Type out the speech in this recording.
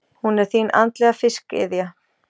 Hún er þín andlega fiskiðja.